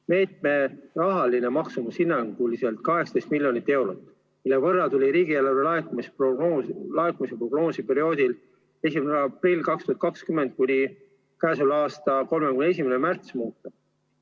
Meetme rahaline maksumus oli hinnanguliselt 18 miljonit eurot, mille võrra tuli riigieelarve laekumise prognoosi 1. aprillist 2020 kuni selle aasta 31. märtsini muuta.